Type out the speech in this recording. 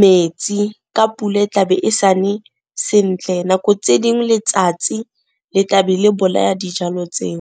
metsi ka pula e tlabe e sane sentle, nako tse dingwe letsatsi le tlabe le bolaya dijalo tseo.